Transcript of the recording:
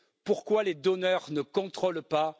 Pourquoi les donneurs ne contrôlent ils pas?